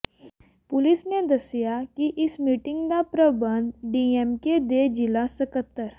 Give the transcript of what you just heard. ਪੁਲਸ ਨੇ ਦੱਸਿਆ ਕਿ ਇਸ ਮੀਟਿੰਗ ਦਾ ਪ੍ਰਬੰਧ ਡੀਐਮਕੇ ਦੇ ਜ਼ਿਲਾ ਸਕੱਤਰ